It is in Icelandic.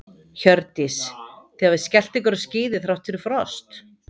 Hjördís: Þið hafið skellt ykkur á skíði þrátt fyrir frost?